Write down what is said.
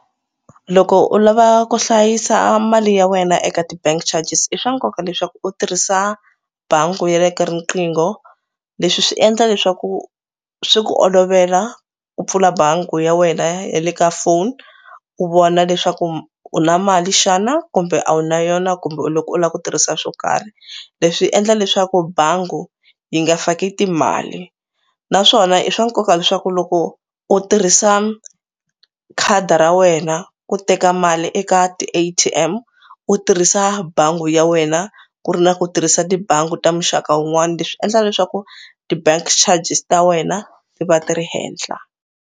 Loko u lava ku hlayisa mali ya wena eka ti-bank charges i swa nkoka leswaku u tirhisa bangi ya le ka riqingho. Leswi swi endla leswaku swi ku olovela ku pfula bangi ya wena ya le ka phone u vona leswaku u na mali xana kumbe a wu na yona kumbe u loko u lava ku tirhisa swo karhi. Leswi endla leswaku bangi yi nga faki timali naswona i swa nkoka leswaku loko u tirhisa khadi ra wena ku teka mali eka ti-A_T_M u tirhisa bangi ya wena ku ri na ku tirhisa tibangi ta muxaka wun'wana leswi endla leswaku ti-bank charges ta wena ti va ti ri henhla.